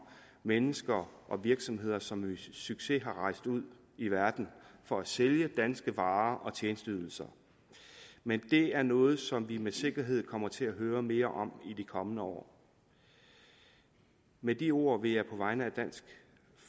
mennesker og virksomheder som med succes er rejst ud i verden for at sælge danske varer og tjenesteydelser men det er noget som vi med sikkerhed kommer til at høre mere om i de kommende år med de ord vil jeg på vegne af dansk